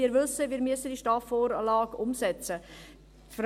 Wir wissen, dass wir diese STAF-Vorlage umsetzen müssen.